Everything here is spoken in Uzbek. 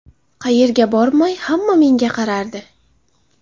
Qayerga bormay hamma menga qarardi.